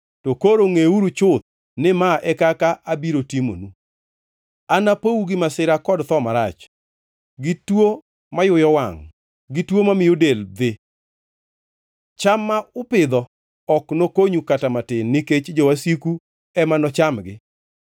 to koro ngʼeuru chuth ni mae e kaka abiro timonu: Anapou gi masira kod tho marach, gi tuo mayuyo wangʼ gi tuo mamiyo del dhe. Cham ma upidho ok nokonyu kata matin nikech jowasiku ema nochamgi.